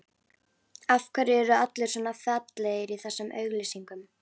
Af hverju eru allir svona fallegir í þessum auglýsingum?